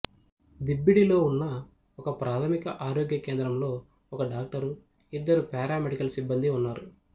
దిబ్బిడిలో ఉన్న ఒకప్రాథమిక ఆరోగ్య కేంద్రంలో ఒక డాక్టరు ఇద్దరు పారామెడికల్ సిబ్బందీ ఉన్నారు